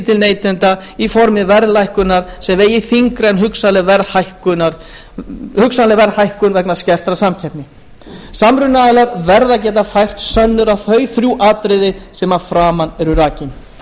til neytenda í formi verðlækkunar sem vegi þyngra en hugsanleg verðhækkun vegna skertrar samkeppni samrunaaðilar verða að geta fært sönnur á þau þrjú atriði sem að framan eru rakin